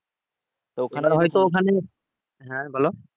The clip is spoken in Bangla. হ্যাঁ বলো